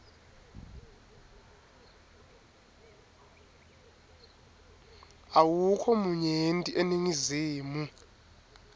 awukho munyenti eningizimu